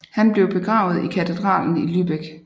Han blev begravet i katedralen i Lübeck